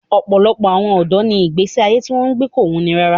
Ọ̀pọ̀lọpọ̀ ọ̀dọ́ ni ìgbé ayé tí wọ́n ń gbé kò wuni rárá